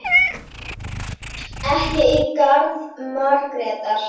Ekki í garð Margrétar.